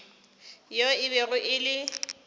yo e bego e le